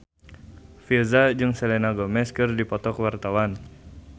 Virzha jeung Selena Gomez keur dipoto ku wartawan